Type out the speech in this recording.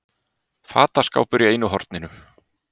Fataskápur í einu horninu.